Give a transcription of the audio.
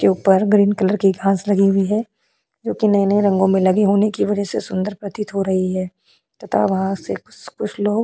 के ऊपर green colour की घांस लगी हुई है जो कि नए-नए रंगों में लगे होने की वजह से सुंदर प्रतीत हो रही है तथा वहां से कुछ लोग।